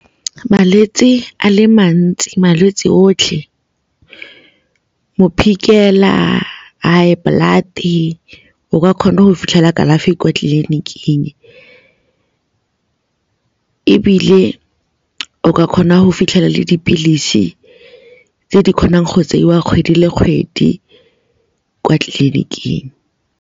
Malwetse a le mantsi, malwetse otlhe high blood-e, o ka kgona go fitlhela kalafi kwa tleliniking ebile o ka kgona go fitlhela le dipilisi tse di kgonang go tseiwa kgwedi le kgwedi kwa tleliniking.